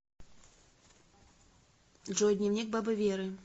джой дневник бабы веры